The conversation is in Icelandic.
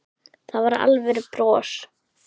Það var alvöru bros.